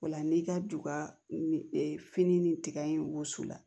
O la n'i ka duga fini ni tiga in woso la